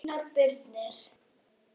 Einar Birnir.